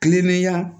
Kilennenya